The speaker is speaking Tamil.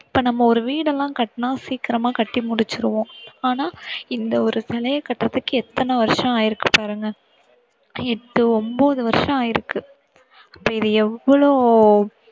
இப்போ நம்ம ஒரு வீடு எல்லாம் கட்டுனா சீக்கிரமா கட்டி முடிச்சுடுவோம் ஆனா இந்த ஒரு சிலையை கட்டுறதுக்கு எத்தனை வருஷம் ஆயிருக்கு பாருங்க. எட்டு ஒன்பது வருஷம் ஆயிருக்கு. அப்போ இது எவ்ளோ